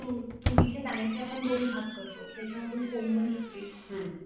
तुरीच्या दाण्याचे आपण दोन भाग करतो, त्यातून कोंब निघतं